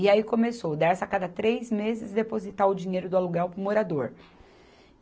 E aí começou o Dersa a cada três meses depositar o dinheiro do aluguel para o morador.